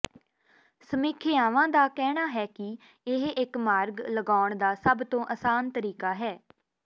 ਸਮੀਖਿਆਵਾਂ ਦਾ ਕਹਿਣਾ ਹੈ ਕਿ ਇਹ ਇੱਕ ਮਾਰਗ ਲਗਾਉਣ ਦਾ ਸਭ ਤੋਂ ਅਸਾਨ ਤਰੀਕਾ ਹੈ